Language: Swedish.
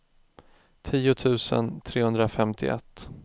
tio tusen trehundrafemtioett